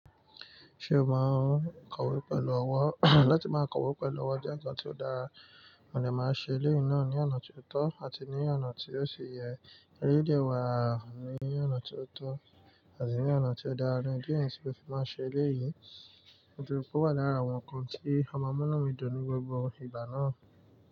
Ṣé o maa n ǹko íwé pẹ̀lú ọwọ́? Láti máa kọ̀wé pẹ̀lú ọwọ́ jẹ́ ǹkan tí ó dára, mo dè máa n ṣe eléyìí náà ní ọ̀nà tí ó tọ́ àti ní ọ̀nà tí óò sì yẹ eléyìí dè wá ní ọ̀nà tí ó tọ́ àti ní ọ̀nà tí ó dára ìdí nìyẹn tí mó fi máa n ṣe eléyìí. Nítorí pé ó wà lára àwọn ǹkan tí a ma múnú mi dùn ní gbogbo ìgbà náà.